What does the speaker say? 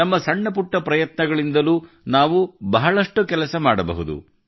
ನಮ್ಮ ಸಣ್ಣಪುಟ್ಟ ಪ್ರಯತ್ನಗಳಿಂದಲೂ ನಾವು ಬಹಳಷ್ಟು ಕೆಲಸ ಮಾಡಬಹುದು